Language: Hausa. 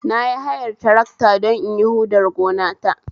Nayi hayar tarakta don inyi huɗar gonata